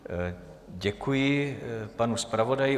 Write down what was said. Děkuji panu zpravodaji.